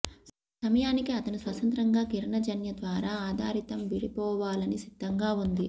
సమయానికి అతను స్వతంత్రంగా కిరణజన్య ద్వారా ఆధారితం విడిపోవాలని సిద్ధంగా ఉంది